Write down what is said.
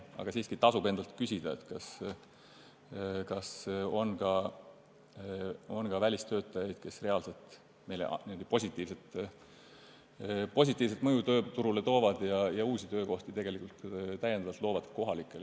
Aga siiski tasub endalt küsida, kas meil on ka selliseid välistöötajaid, kes reaalselt meie tööturule positiivset mõju toovad ja kohalikele uusi töökohti loovad.